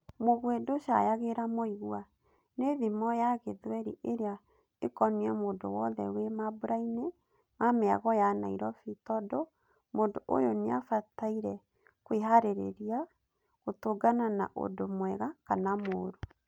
‘Mũguĩ ndũcayagĩra mũigua’, nĩ thimo ya gĩthweri ĩrĩa ĩkoniē mũndũ wothe wi mambũrainĩ ma mĩago ya Nairobi tondũ mũndũ ũyũ nĩafataire kwĩharĩrĩria gũtũngana na ũndũ mwega kana mũrũ.